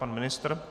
Pan ministr.